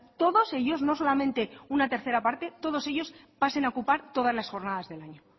todos ellos no solamente una tercera parte todos ellos pasen a ocupar todas las jornadas del año